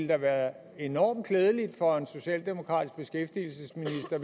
have været enormt klædeligt for en socialdemokratisk beskæftigelsesminister